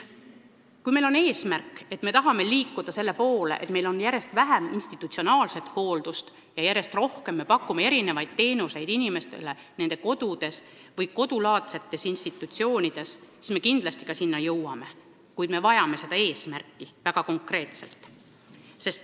Kui meie eesmärk on liikuda selle poole, et meil oleks järjest vähem institutsionaalset hooldust ja me pakume järjest rohkem teenuseid inimestele nende kodus või kodulaadses institutsioonis, siis me kindlasti selleni jõuame, kuid me vajame seda eesmärki väga konkreetselt.